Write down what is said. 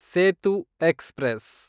Setu express